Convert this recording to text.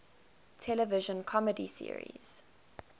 television comedy series